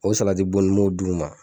O salatidbo in n m'o d'u ma